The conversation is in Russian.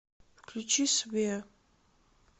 включи свеа